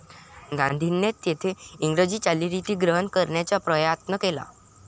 गांधींनी तेथे इंग्रजी चालीरीती ग्रहण करण्याचा प्रयात्न केला.